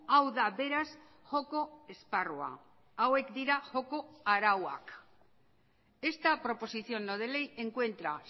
hau da beraz joko esparrua hauek dira joko arauak esta proposición no de ley encuentra